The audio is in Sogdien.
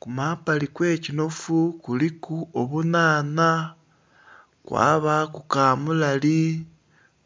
ku mabbali okw'ekinhofu kuliku obunhanha kwabaku kamulali